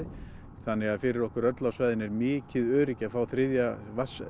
þannig að fyrir okkur öll á svæðinu er mikið öryggi að fá þriðja